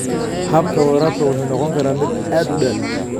Habka waraabka wuxuu noqon karaa mid aad u dheer.